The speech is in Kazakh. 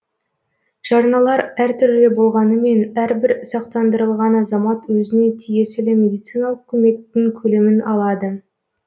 жарналар әртүрлі болғанымен әрбір сақтандырылған азамат өзіне тиесілі медициналық көмектің көлемін алады